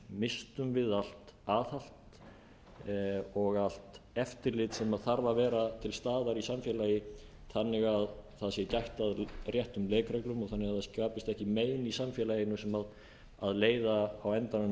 misstum við allt aðhald og allt eftirlit sem þarf að vera til staðar í samfélagi þannig að það sé gætt að réttum leikreglum og þannig að það skapist ekki mein í samfélaginu sem leiða á endanum